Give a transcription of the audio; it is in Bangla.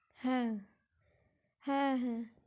হ্যা হ্যা